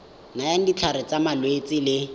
nayang ditlhare tsa malwetse le